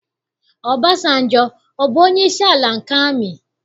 Ọbasanjọ, ọ bụ onyeisi ala nke amị?